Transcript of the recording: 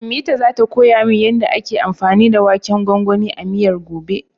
Ummita zata koya min yanda ake anfani da waken gwangwanin a miyar, gobe.